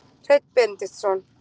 Hreinn Benediktsson.